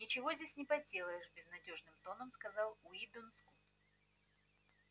ничего тут не поделаешь безнадёжным тоном сказал уидон скотт